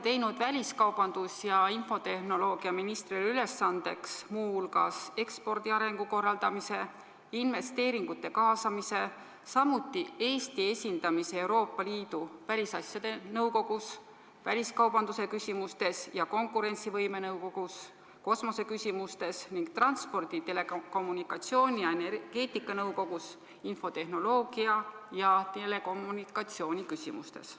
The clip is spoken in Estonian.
Te olete väliskaubandus- ja infotehnoloogiaministrile ülesandeks teinud muu hulgas ekspordi arengu korraldamise, investeeringute kaasamise, samuti Eesti esindamise Euroopa Liidu välisasjade nõukogus väliskaubanduse küsimustes, konkurentsivõime nõukogus kosmose küsimustes ning transpordi, telekommunikatsiooni ja energeetika nõukogus infotehnoloogia ja telekommunikatsiooni küsimustes.